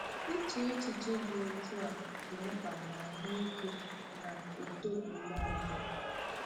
Iche echiche dị otu a dị mkpa n’ahụike na uto mmụọ gị.